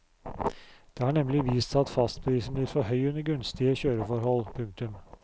Det har nemlig vist seg at fastprisen blir for høy under gunstige kjøreforhold. punktum